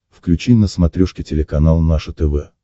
включи на смотрешке телеканал наше тв